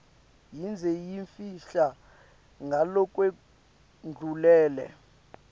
yindze yimfisha ngalokwendlulele